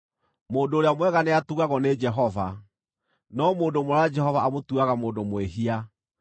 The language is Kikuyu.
Mũndũ ũrĩa mwega nĩatugagwo nĩ Jehova, no mũndũ mwara Jehova amũtuaga mũndũ mwĩhia.